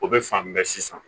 O bɛ fan bɛɛ sisan